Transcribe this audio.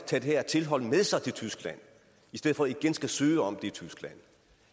tage det her tilhold med sig til tyskland i stedet for igen at skulle søge om